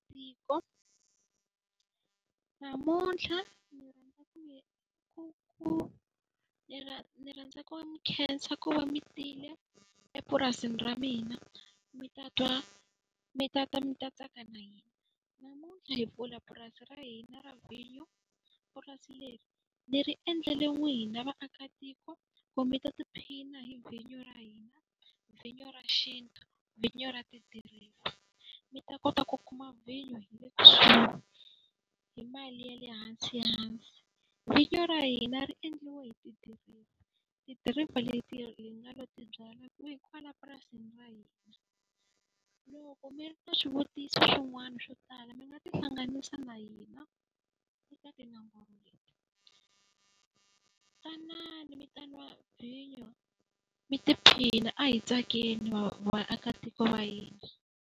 Tiko namuntlha ku ku ni ni rhandza ku mi khensa ku va mi tile epurasini ra mina mi ta twa mi ta ta mi ta tsaka na hina. Namuntlha hi mpfula purasi ra hina ra vinyo, purasi leri ni ri endlele n'wina na vaakatiko ku mi ta tiphina hi vinyo ra hina. Vinyo ra xintu, vinyo ra tidiriva. Mi ta kota ku kuma vinyo hi mali ya le hansi . Vinyo ra hina ri endliwe hi tidiriva, tidiriva leti hi nga lo ti byalwa kwihi, kwala purasini ra hina. Loko mi ri na swivutiso swin'wana swo tala mi nga tihlanganisa na hina eka tinomboro leti. Tanani mi ta nwa vinyo mi ti phina, a hi tsakeni vaakatiko va hina.